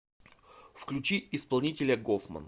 включи исполнителя гофман